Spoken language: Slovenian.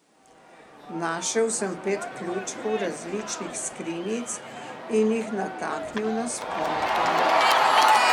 Našel sem pet ključkov različnih skrinjic in jih nataknil na sponko.